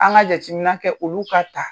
An ka jateminƐ kɛ olu ka ta